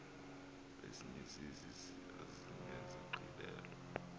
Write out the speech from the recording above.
ezinye zezi zinesigqibelo